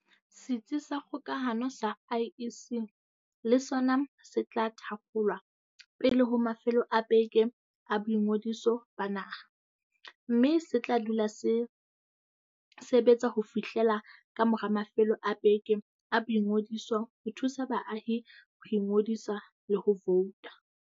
Setsi sa kgokahano sa IEC le sona se tla thakgolwa pele ho mafelo a beke a boingodiso ba naha, mme se tla dula se sebe tsa ho fihlela kamora mafelo a beke a boingodiso ho thusa baahi ho ingodisa le ho vouta.